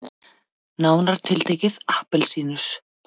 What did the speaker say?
Nánar tiltekið appelsínur.